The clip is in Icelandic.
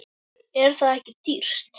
Er það ekki dýrt?